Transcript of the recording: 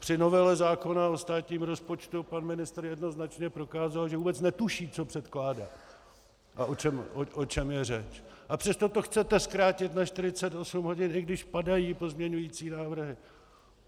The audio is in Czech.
Při novele zákona o státním rozpočtu pan ministr jednoznačně prokázal, že vůbec netuší, co předkládá a o čem je řeč, a přesto to chcete zkrátit na 48 hodin, i když padají pozměňovací návrhy.